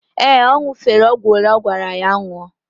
Ee, ọ ñụ̀fere ọgwụ olee agwara ya ñụọ.